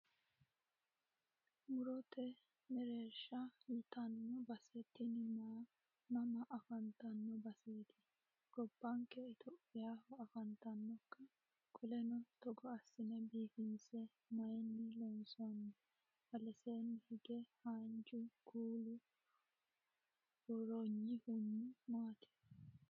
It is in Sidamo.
Murote mereerisha yitanno base tini mama afantanno baseeti? Gobbanke itiyophiyaho afantannokka? Qoleno togo assine biifinse mayiinni loonsoni? Aleseenni hige haanja kuula buurroyihuno maati?